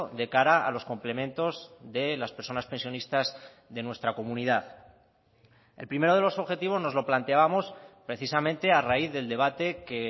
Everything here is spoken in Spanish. de cara a los complementos de las personas pensionistas de nuestra comunidad el primero de los objetivos nos lo planteábamos precisamente a raíz del debate que